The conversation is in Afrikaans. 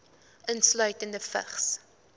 insluitende vigs